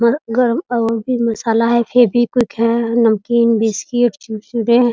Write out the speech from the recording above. गरम और भी मसाला है फेवीक्विक है नमकीन बिस्कुट कुरकुरे है ।